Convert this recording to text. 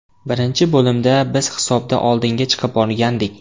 Birinchi bo‘limda biz hisobda oldinga chiqib olgandik.